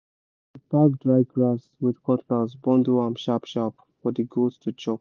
we pack dry grass with cutlass bundle am sharp-sharp for the goats to chop